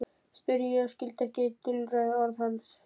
spurði ég og skildi ekki dulræð orð hans.